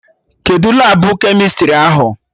Kedụ Labụ kemịstrị ahụ?